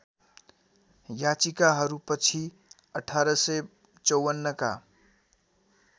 याचिकाहरू पछि १८५४ का